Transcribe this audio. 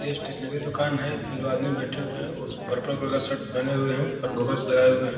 ये स्टेशनरी दुकान है इसपे जो आदमी बैठे हुए हैं पर्पल कलर का शर्ट पहने हुए हैं और गॉगल्स लगाए हुए हैं।